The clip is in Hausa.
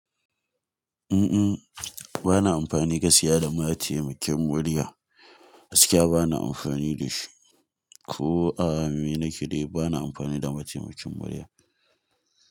Uhm, bana amfani gaskiya da mataimakin murya. Gaskiya bana amfani da shi. Ko a me na ke dai bana amfani da mataimakin murya.